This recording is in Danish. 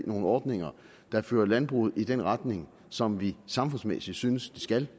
nogle ordninger der fører landbruget i den retning som vi samfundsmæssigt synes det skal